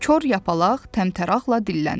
Kor Yapaq təmtəraqla dilləndi.